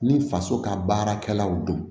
Ni faso ka baarakɛlaw don